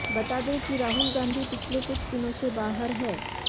बता दें कि राहुल गांधी पिछले कुछ दिनों से बाहर हैं